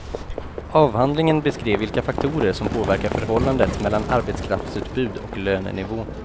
Avhandlingen beskrev vilka faktorer som påverkar förhållandet mellan arbetskraftsutbud och lönenivå.